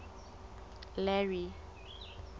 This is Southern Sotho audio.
larry